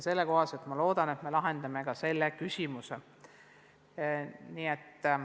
Seega, ma loodan, et nii lahendame ka selle küsimuse.